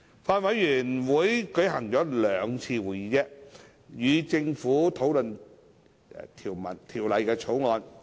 法案委員會舉行了兩次會議，與政府討論《條例草案》。